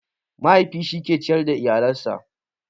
Mahaifi shi ke ciyar da iyalen sa